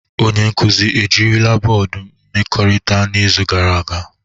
Onye nkuzi ejirila bọọdụ mmekọrịta n'izu gara aga?